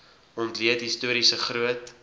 ontleed historiese groot